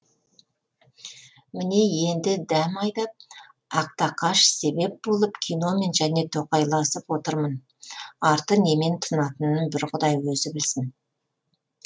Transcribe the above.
міне енді дәм айдап ақтақаш себеп болып киномен және тоқайласып отырмын арты немен тынатынын бір құдай өзі білсін